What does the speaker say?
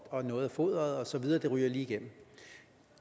og noget af foderet og så videre ryger lige igennem